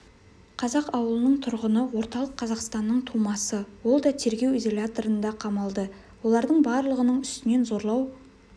қазаақ ауылының тұрғыны орталық қазақстанның тумасы ол да тергеу изоляторына қамалды олардың барлығының үстінен зорлау